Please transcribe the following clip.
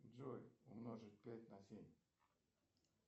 джой умножить пять на семь